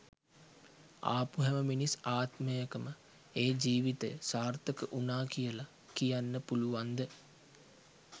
ආපු හැම මිනිස් ආත්මයකම ඒ ජීවිතය සාර්ථක වුණා කියලා කියන්න පුළුවන්ද?